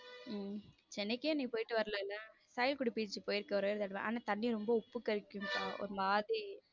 உம் சென்னைக்கே நீ போயிட்டு வரல beach க்கு போயிருக்கேன் ஒரே ஒரு தடவை ஆனா தண்ணி ரொம்ப உப்பு கரிக்கும் ஒரு மாதிரி.